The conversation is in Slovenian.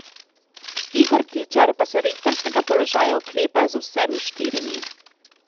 Igor Tičar pa se rektorskega položaja oklepa z vsemi štirimi.